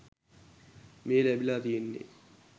මේ ලැබිලා තියෙන්නේ.